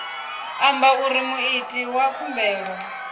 amba uri muiti wa khumbelo